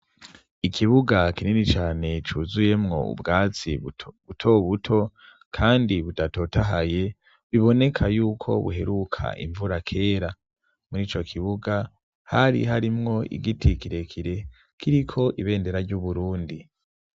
Ikibuga kinini cane cuzuyemwo ubwatsi buto buto kandi budatotahaye biboneka yuko buheruka imvura kera. Muri ico kibuga hari harimwo igiti kirekire kiriko ibendera ry'Uburundi.